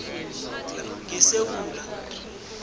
ngesewula